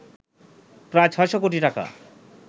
প্রায় ৬শ কোটি টাকা